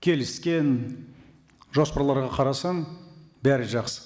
келіскен жоспарларға қарасаң бәрі жақсы